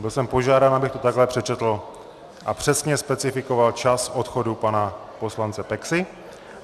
Byl jsem požádán, abych to takhle přečetl a přesně specifikoval čas odchodu pana poslance Peksy.